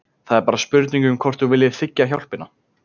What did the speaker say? Það er bara spurning um hvort þú viljir þiggja hjálpina.